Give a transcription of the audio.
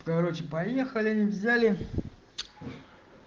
короче поехали взяли